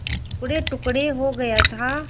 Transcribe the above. टुकड़ेटुकड़े हो गया था